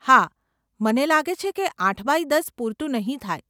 હા, મને લાગે છે કે આઠ બાય દસ પૂરતું નહીં થાય.